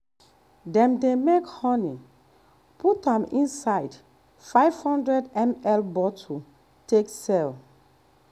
dem dey make honey put am inside 500ml bottle take sell.